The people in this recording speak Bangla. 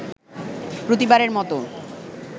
প্রতিবারের মতো